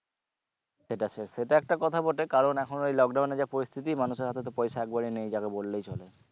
সেটা সেটা একটা কথা বটে কারণ এখন ওই lockdown এ যা পরিস্থিতি মানুষের হাতে তো পয়সা একবারে নেই যাকে বললেই চলে